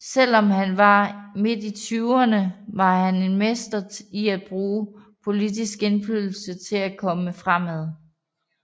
Selv om han var mid i tyverne var han en mester i at bruge politisk indflydelse til at komme fremad